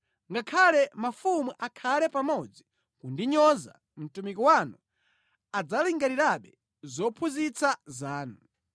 Ngakhale mafumu akhale pamodzi kundinyoza, mtumiki wanu adzalingalirabe zophunzitsa zanu.